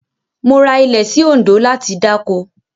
Mo ra ilẹ̀ sí Òǹdó láti dáko.